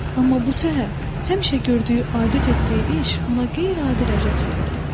Amma bu səhər həmişə gördüyü adət etdiyi iş ona qeyri-adi ləzzət verirdi.